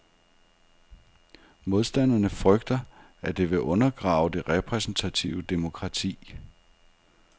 Modstanderne frygter, at det vil undergrave det repræsentative demokrati.